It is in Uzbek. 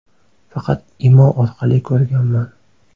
Faqat Imo orqali ko‘rganman.